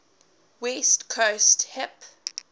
west coast hip